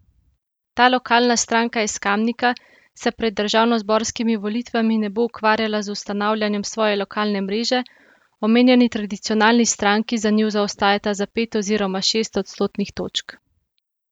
Ta lokalna stranka iz Kamnika se pred državnozborskimi volitvami ne bo ukvarjala z ustanavljanjem svoje lokalne mreže, omenjeni tradicionalni stranki za njo zaostajata za pet oziroma šest odstotnih točk.